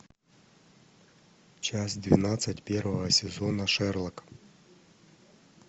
часть двенадцать первого сезона шерлок